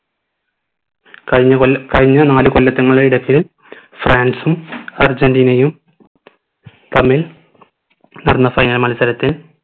കഴിഞ്ഞ കൊല്ല കഴിഞ്ഞ നാല് കൊല്ലത്തങ്ങളുടെ ഇടക്ക് ഫ്രാൻസും അർജനിറ്റിനയും തമ്മിൽ നടന്ന final മത്സരത്തിൽ